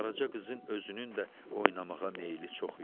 Qaraça qızın özünün də oynamağa meyili çox idi.